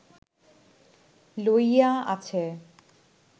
লইয়া আছে